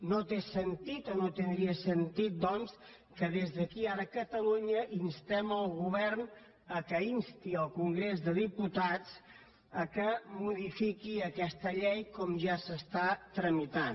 no té sentit o no tindria sentit doncs que des d’aquí ara a catalunya instéssim el govern a instar el congrés de diputats perquè modifiqués aquesta llei com ja es tramita